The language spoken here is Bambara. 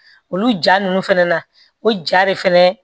Olu ja ninnu fana na o ja de fɛnɛ